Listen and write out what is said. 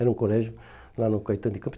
Era um colégio lá no Caetano de Campos.